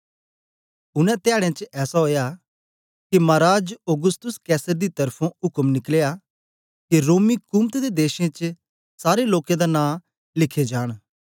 उनै धयाडें च ऐसा ओया के माराज औगुस्तुस कैसर दी त्र्फुं उक्म निकलया के रोमी कुमत दे देशें च सारे लोकें दा नां लिखे जान